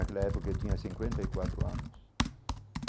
Aquela época eu tinha cinquenta e quatro anos.